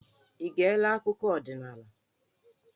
Ị geela akụkọ ọdinaala?